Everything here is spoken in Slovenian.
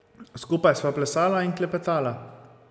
Skupaj sva plesala in klepetala.